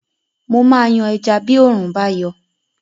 Mo máa yan ẹja bí òórùn bá yọ